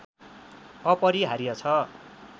अपरिहार्य छ